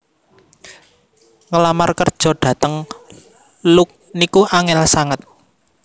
Ngelamar kerjo dateng Look niku angel sanget